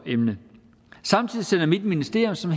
emne samtidig sender mit ministerium som